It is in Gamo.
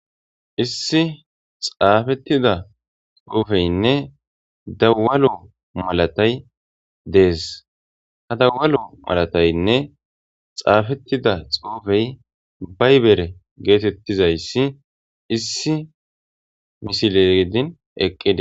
Issi xaafettida xuufeynne dawalo malatay dees ha dawalo malataynne xaafettida xuufey baybere geetettizayssi issi misilegedin eqqide